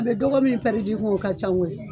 A be dɔgɔ min pɛridi i kun o ka ca koyi